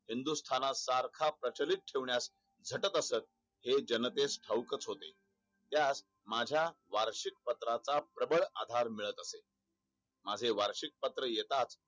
हिंदुस्थान सारखा प्रचिलीत ठेवण्यास झटत असत. हे जनतेस ठाऊक च होते. त्यास माझा वार्षिक पत्राचा प्रभळ आधार मिळत असे. माझे वार्षिक पत्र येताच